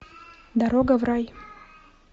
дорога в рай